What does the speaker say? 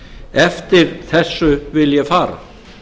eftir þessu vil ég fara